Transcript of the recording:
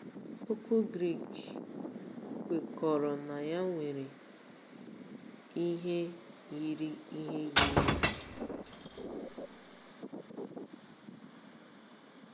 Okwu Grik kwekọrọ na ya nwere ihe yiri ihe yiri ya.